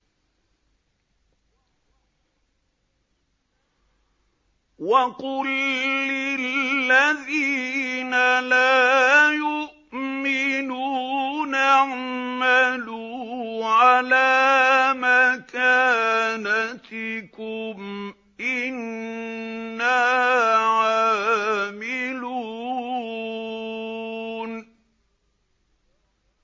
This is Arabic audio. وَقُل لِّلَّذِينَ لَا يُؤْمِنُونَ اعْمَلُوا عَلَىٰ مَكَانَتِكُمْ إِنَّا عَامِلُونَ